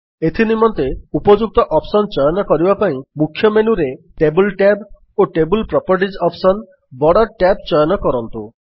ଏଥିନିମନ୍ତେ ଉପଯୁକ୍ତ ଅପ୍ସନ୍ ଚୟନ କରିବା ପାଇଁ ମୁଖ୍ୟ ମେନ୍ୟୁରେ ଟେବଲ୍ ଟ୍ୟାବ୍ ଓ table properties option borders tab ଚୟନ କରନ୍ତୁ